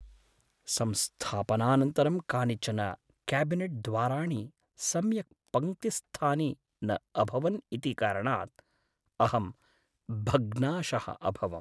संस्थापनानन्तरं कानिचन क्याबिनेट् द्वाराणि सम्यक् पङ्क्तिस्थानि न अभवन् इति कारणात् अहं भग्नाशः अभवम्।